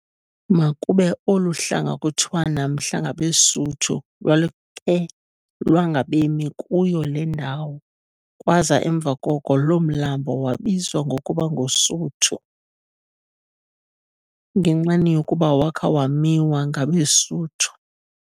Makube olu hlanga kithiwa namhla ngabeSuthu lwalukhe lwangabemi kuyo le ndawo kwaza emva koko loo mlambo waziwa ngokuba nguSuthu, ngenxeni yokuba wakha wamiwa ngabeSuthu.